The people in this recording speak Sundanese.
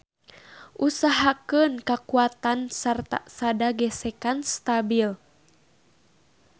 Usahakeun kakuatan sarta sada gesekan stabil.